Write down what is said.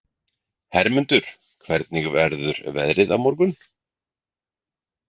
Hermundur, hvernig verður veðrið á morgun?